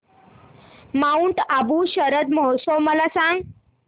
Mount Abu शरद महोत्सव मला सांग